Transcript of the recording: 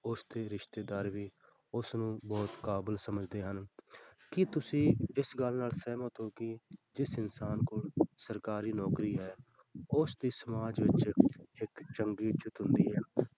ਉਸਦੇ ਰਿਸ਼ਤੇਦਾਰ ਵੀ ਉਸਨੂੰ ਬਹੁਤ ਕਾਬਲ ਸਮਝਦੇ ਹਨ, ਕੀ ਤੁਸੀਂ ਇਸ ਗੱਲ ਨਾਲ ਸਹਿਮਤ ਹੋ ਕਿ ਜਿਸ ਇਨਸਾਨ ਕੋਲ ਸਰਕਾਰੀ ਨੌਕਰੀ ਹੈ ਉਸ ਦੀ ਸਮਾਜ ਵਿੱਚ ਇੱਕ ਚੰਗੀ ਇੱਜ਼ਤ ਹੁੰਦੀ ਹੈ।